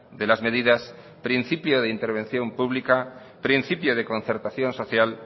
de las medidas principio de intervención pública principio de concertación social